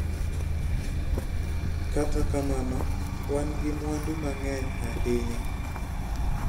Kata kamano, wan gi mwandu mang'eny ahinya.